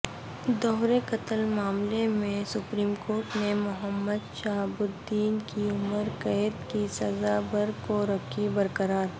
دوہرے قتل معاملے میں سپریم کورٹ نےمحمدشہاب الدین کی عمرقیدکی سزا برکورکھی برقرار